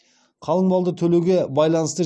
қалың малды төлеуге байланысты